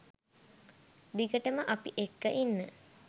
දිගටම අපි එක්ක ඉන්න.